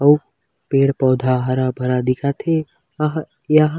अऊ पेड़-पौधा हरा-भरा दिखत हे अह यह--